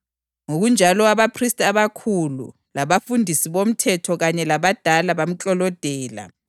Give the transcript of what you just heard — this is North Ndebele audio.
Ngokunjalo abaphristi abakhulu, labafundisi bomthetho kanye labadala bamklolodela.